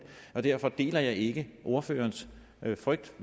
derfor deler jeg ikke ordførerens frygt